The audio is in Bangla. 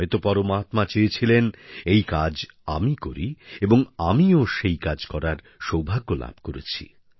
হয়তো পরমাত্মা চেয়েছিলেন এই কাজ আমি করি এবং আমিও সেই কাজ করার সৌভাগ্য লাভ করেছি